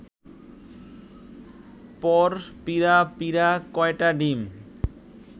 পড়, পিঁড়া পিঁড়া কয়টা ডিম